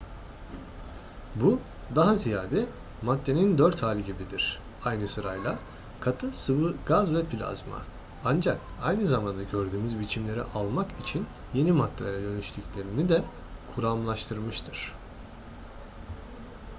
bu daha ziyade maddenin dört hali gibidir aynı sırayla: katı sıvı gaz ve plazma. ancak aynı zamanda gördüğümüz biçimleri almak için yeni maddelere dönüştüklerini de kuramlaştırmıştır